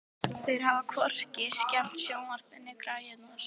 Þeir hafa hvorki skemmt sjónvarpið né græjurnar.